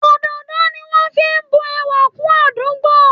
Òdòdó ni wọn fi ń bu ẹwà kún àdúgbò